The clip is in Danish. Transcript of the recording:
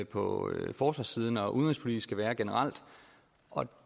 på forsvarssiden og udenrigspolitisk skal være generelt og